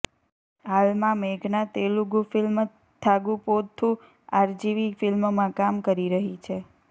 હાલમાં મેઘના Telugu film Thagupothu RGV ફિલ્મમાં કામ કરી રહી છે